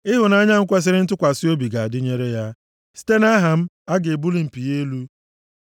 Ịhụnanya m kwesiri ntụkwasị obi ga-adịnyere ya, site nʼaha m, a ga-ebuli mpi ya elu.